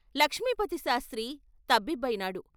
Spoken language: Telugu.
లక్ష్మీపతిశాస్త్రి తబ్బిబ్బయినాడు.